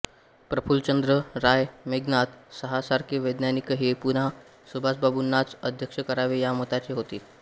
प्रफुल्लचंद्र राय मेघनाद साहा सारखे वैज्ञानिकही पुन्हा सुभाषबाबूंनाच अध्यक्ष करावे ह्या मताचे होते